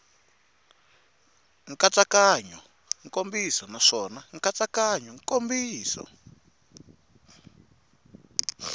nkatsakanyo nkomiso naswona nkatsakanyo nkomiso